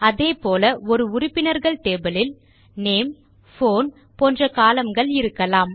அதே போல ஒரு உறுப்பினர்கள் டேபிள் யில் நேம் போன் போன்ற கோலம்ன் கள் இருக்கலாம்